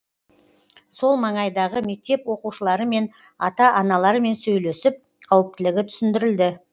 сол маңайдағы мектеп оқушыларымен ата аналарымен сөйлесіп қауіптілігі түсіндірілді